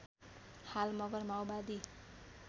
हाल मगर माओवादी